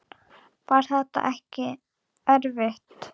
Var þetta ekki erfitt?